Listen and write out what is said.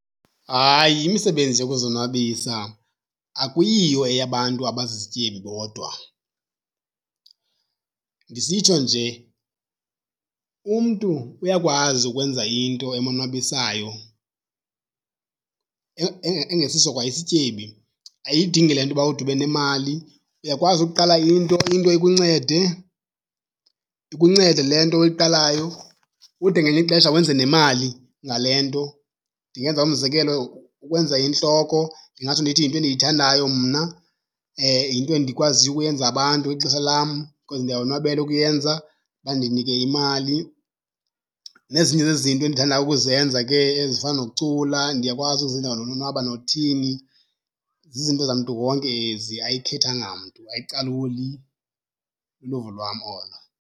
Hayi, imisebenzi yokuzonwabisa akuyiyo eyabantu abazizityebi bodwa. Ndisitsho nje umntu uyakwazi ukwenza into emonwabisayo engesiso kwaisityebi, ayidingi le nto uba ude ube nemali. Uyakwazi ukuqala into, into ikuncede. Ikuncede le nto oyiqalayo ude ngelinye ixesha wenze nemali ngale nto. Ndingenza umzekelo ukwenza intloko, ndingatsho ndithi yinto endiyithandayo mna, yinto endikwaziyo ukuyenza abantu ngexesha lam because ndiyawonwabela ukuyenza, bandinike imali. Nzinye zezinto endithandayo ukuzenza ke ezifana nokucula, ndiyakwazi uzenzela nolonwabo nothini. Zizinto zamntu wonke ezi ayikhethanga mntu, ayicaluli. Luluvo lwam olo.